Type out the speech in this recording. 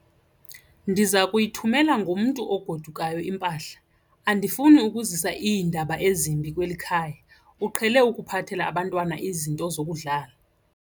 Ndiza kuyithumela ngomntu ogodukayo impahla. Andifuni ukuzisa iindaba ezimbi kweli khaya, uqhele ukuphathela abantwana izinto zokudlala.